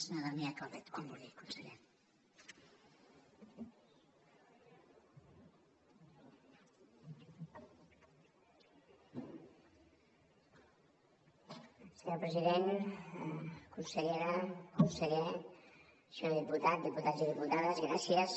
senyor president consellera conseller senyor diputat diputats i diputades gràcies